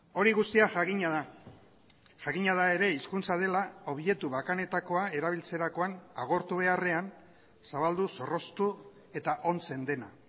hori guztia jakina da jakina da ere hizkuntza dela objektu bakanetakoa erabiltzerakoan agortu beharrean zabaldu zorroztu eta ontzen dena